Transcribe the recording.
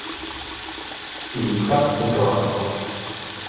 иришка быкова